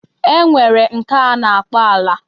E nwere nke a na-akpọ ala